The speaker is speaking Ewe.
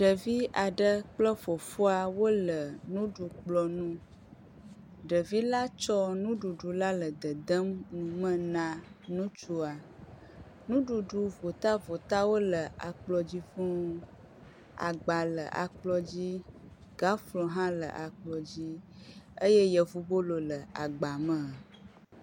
Ɖevi aɖe kple fofoa wo le nuɖukplɔ ŋu. Ɖevi la tsɔ nuɖuɖu la le dedem nu me na ŋutsua. Nuɖuɖu votavotawo le akplɔ dzi fuu. Agba le akplɔ dzi gaflo hã le akplɔ dzi eye yevubolo le agba me.